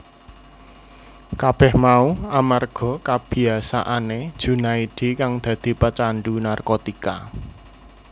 Kabeh mau amarga kabiyasaane Junaedi kang dadi pecandhu narkotika